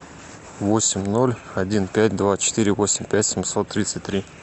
восемь ноль один пять два четыре восемь пять семьсот тридцать три